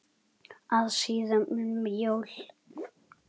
að síðan um jól.